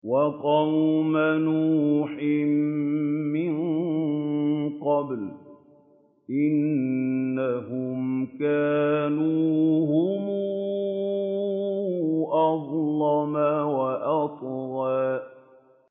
وَقَوْمَ نُوحٍ مِّن قَبْلُ ۖ إِنَّهُمْ كَانُوا هُمْ أَظْلَمَ وَأَطْغَىٰ